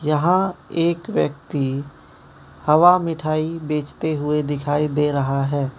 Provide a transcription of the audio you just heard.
यहां एक व्यक्ति हवा मिठाई बेचते हुए दिखाई दे रहा है।